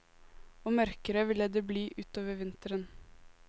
Og mørkere ville det bli utover vinteren.